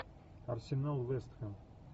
арсенал вест хэм